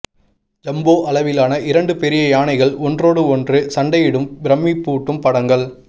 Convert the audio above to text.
jumbo அளவிலான இரண்டு பெரிய யானைகள் ஒன்றோடு ஒன்று சண்டையிடும் பிரம்மிப்பூட்டும் படங்கள்